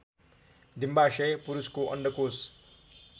डिम्बाशय पुरुषको अन्डकोष